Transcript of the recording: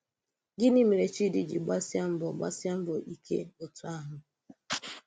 Gịnị̀ mè̀rè Chídì jì gbàsíè mbọ̀ gbàsíè mbọ̀ íké otú àhụ̀?